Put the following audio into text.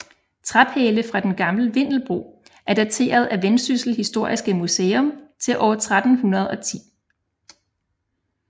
Træpæle fra den gamle vindebro er dateret af Vendsyssel Historiske Museum til år 1310